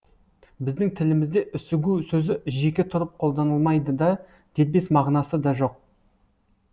біздің тілімізде үсігу сөзі жеке тұрып қолданылмайды да дербес мағынасы да жоқ